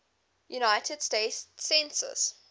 united states census